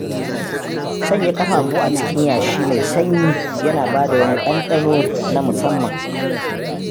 Sanya ƙafafu a cikin yashi mai sanyi yana bada wani ɗanɗano na musamman.